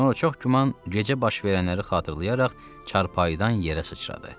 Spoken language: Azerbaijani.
Sonra çox güman gecə baş verənləri xatırlayaraq çarpayıdan yerə sıçradı.